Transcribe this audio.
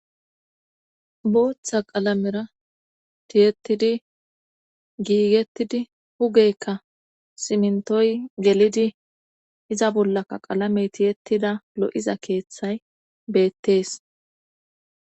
Booththa qalamera tiyettidi; giigettidi hugeykka simntoy gelidi iza bollaka qalamey tiyettida lo7iza keeththay beettees.